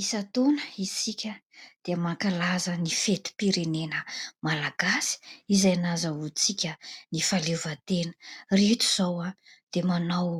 Isan-taona isika dia mankalaza ny fetim-pirenena malagasy izay nahazoantsika ny fahaleovantena ; ireto izao dia manao